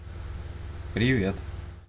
привет